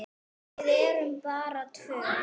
Við erum bara tvö.